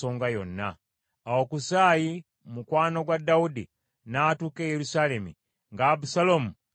Awo Kusaayi mukwano gwa Dawudi n’atuuka e Yerusaalemi, nga Abusaalomu ayingira ekibuga.